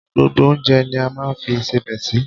Gbogbo oúnjẹ ni a máa ń fi ìṣebẹ sí.